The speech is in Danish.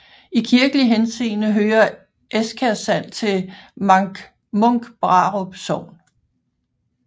I kirkelig henseende hører Eskærsand til Munkbrarup Sogn